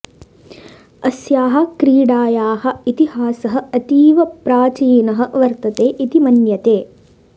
अस्याः क्रीडायाः इतिहासः अतीव प्राचीनः वर्तते इति मन्यते